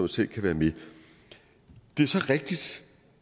selv kan være med det er så rigtigt